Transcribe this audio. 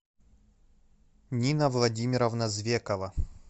нина владимировна звекова